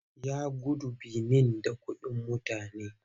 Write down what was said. Ya gudu Benin da kuɗin mutane.